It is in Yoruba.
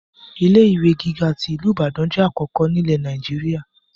Ilé ìwé gíga tí ìlú Ìbàdàn jẹ́ àkọ́kọ́ ni ilẹ̀ Nàìjíríà.